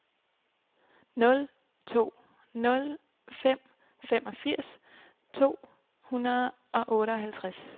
nul to nul fem femogfirs to hundrede og otteoghalvtreds